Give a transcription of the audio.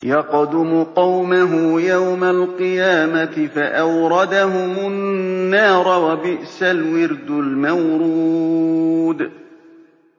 يَقْدُمُ قَوْمَهُ يَوْمَ الْقِيَامَةِ فَأَوْرَدَهُمُ النَّارَ ۖ وَبِئْسَ الْوِرْدُ الْمَوْرُودُ